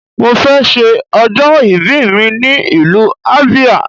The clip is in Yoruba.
Mo fẹ ṣe ọjọ́ ìbí mi ní ìlú Abia